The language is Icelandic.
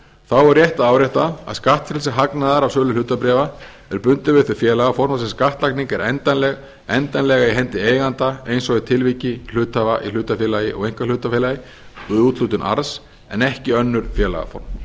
þá er rétt að árétta að skattfrelsi hagnaðar af sölu hlutabréfa er bundið við það félagaform þar sem skattlagning er endanleg í hendi eiganda eins og í tilviki hluthafa í hlutafélagi og einkahlutafélagi og við úthlutun arðs en ekki önnur félagaform